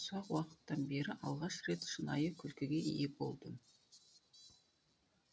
ұзақ уақыттан бері алғаш рет шынайы күлкіге ие болдым